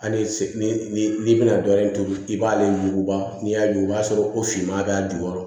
Hali ni n'i bɛna dɔɔnin turu i b'ale yuguba n'i y'a sɔrɔ o finman b'a jukɔrɔ